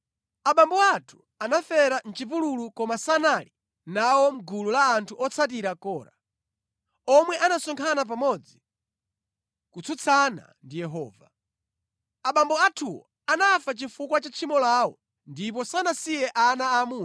“Abambo athu anafera mʼchipululu koma sanali nawo mʼgulu la anthu otsatira Kora, omwe anasonkhana pamodzi kutsutsana ndi Yehova. Abambo athuwo anafa chifukwa cha tchimo lawo ndipo sanasiye ana aamuna.